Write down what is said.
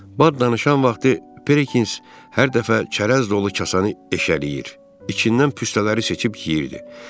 Bad danışan vaxtı Perkins hər dəfə çərəz dolu kasanı eşələyir, içindən püstələri seçib yeyirdi.